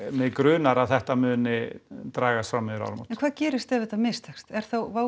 mig grunar að þetta muni dragast fram yfir áramót en hvað gerist ef þetta mistekst er þá